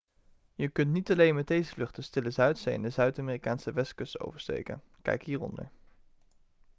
je kunt niet alleen met deze vlucht de stille zuidzee en de zuid-amerikaanse westkust oversteken. kijk hieronder